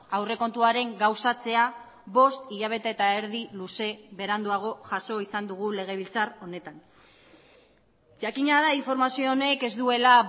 aurrekontuaren gauzatzea bost hilabete eta erdi luze beranduago jaso izan dugu legebiltzar honetan jakina da informazio honek ez duela